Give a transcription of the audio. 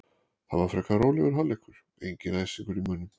Það var frekar rólegur hálfleikur, enginn æsingur í mönnum.